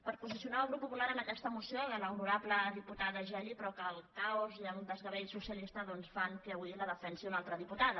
per posicionar el grup popular en aquesta moció de l’honorable diputada geli però que el caos i el desgavell socialista doncs fan que avui la defensi una altra diputada